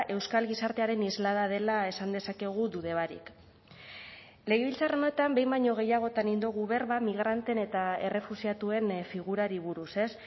euskal gizartearen islada dela esan dezakegu dude barik legebiltzar honetan behin baino gehiagotan egin dugu berba migranteen eta errefuxiatuen figurari buruz ez